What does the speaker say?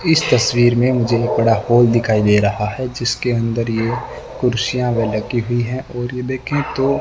इस तस्वीर में मुझे बड़ा हॉल दिखाई दे रहा है जिसके अंदर ये कुर्सियां लगी हुई हैं और ये देखें तो--